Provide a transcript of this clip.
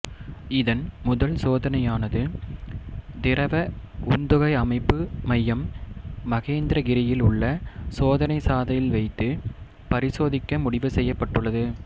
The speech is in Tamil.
இதன் முதல் சோதனையனது திரவ உந்துகை அமைப்பு மையம் மகேந்திரகிரியில் உள்ள சோதனை சாலையில் வைத்து பரிசோதிக்க முடிவு செய்யப்பட்டுள்ளது